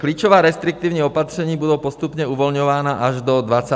Klíčová restriktivní opatření budou postupně uvolňována až do 25. května.